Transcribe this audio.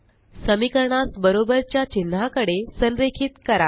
समीकरणास बरोबर च्या चिन्हाकडे संरेखित करा